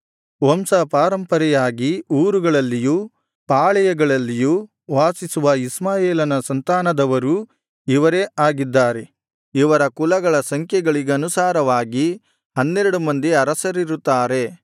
ವಂಶ ಪಾರಂಪರೆಯಾಗಿ ಊರುಗಳಲ್ಲಿಯೂ ಪಾಳೆಯಗಳಲ್ಲಿಯೂ ವಾಸಿಸುವ ಇಷ್ಮಾಯೇಲನ ಸಂತಾನದವರೂ ಇವರೇ ಆಗಿದ್ದಾರೆ ಇವರ ಕುಲಗಳ ಸಂಖ್ಯೆಗಳಿಗನುಸಾರವಾಗಿ ಹನ್ನೆರಡು ಮಂದಿ ಅರಸರಿರುತ್ತಾರೆ